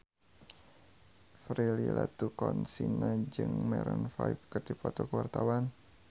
Prilly Latuconsina jeung Maroon 5 keur dipoto ku wartawan